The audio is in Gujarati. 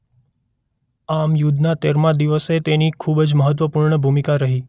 આમ યુદ્ધના તેરમા દિવસે તેની ખૂબ જ મહત્વપૂર્ણ ભૂમિકા રહી.